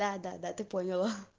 да-да-да ты понял